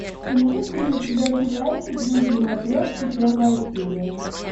имеется ли у тебя сериальчик жизни матрешки первая серия